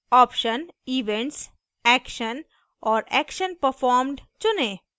option events action और action performed चुनें